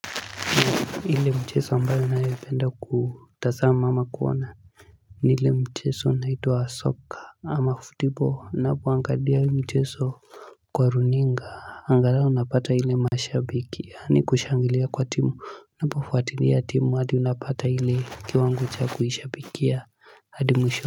Ile mchezo ambayo ninayopenda kutazama ama kuona ni ile mchezo unaituwa soka ama football. Ninapoangalia hii mchezo kwa runinga angalau napata ile mashabiki. Yaani kushangilia kwa timu, unapofuatilia timu hadi unapata ile kiwango cha kuishabikia hadi mwisho.